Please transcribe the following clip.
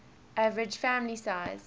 average family size